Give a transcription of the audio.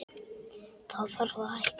Þá þarf að hækka.